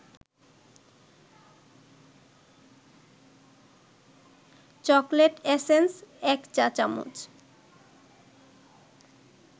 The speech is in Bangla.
চকোলেট এসেন্স ১ চা-চামচ